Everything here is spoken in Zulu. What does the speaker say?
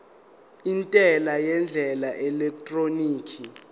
intela ngendlela yeelektroniki